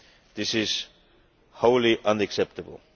This is wholly unacceptable.